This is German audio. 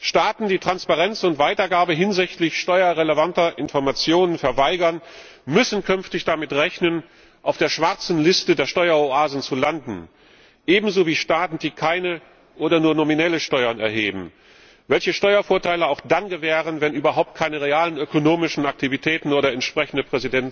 Staaten, die Transparenz und Weitergabe hinsichtlich steuerrelevanter Informationen verweigern, müssen künftig damit rechnen, auf der schwarzen Liste der Steueroasen zu landen, ebenso wie Staaten, die keine oder nur nominelle Steuern erheben, welche Steuervorteile auch dann gewähren, wenn überhaupt keine realen ökonomischen Aktivitäten oder entsprechende